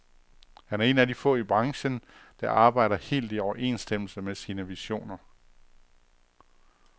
Han er en af de få i branchen, der arbejder helt i overensstemmelse med sine visioner.